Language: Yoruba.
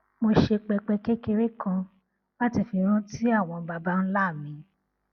mo ṣe pẹpẹ kékeré kan láti fi rántí àwọn baba ńlá mi